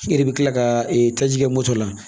I yɛrɛ bi kila ka taji kɛ moto la